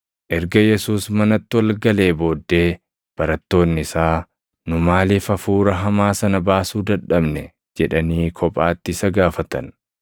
Erga Yesuus manatti ol galee booddee barattoonni isaa, “Nu maaliif hafuura hamaa sana baasuu dadhabne?” jedhanii kophaatti isa gaafatan.